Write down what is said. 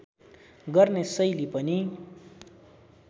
गर्ने शैली पनि